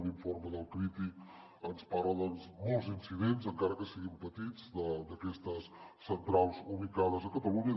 un informe d’el crític ens parla de molts incidents encara que siguin petits d’aquestes centrals ubicades a catalunya